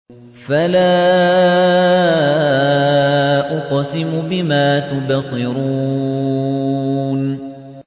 فَلَا أُقْسِمُ بِمَا تُبْصِرُونَ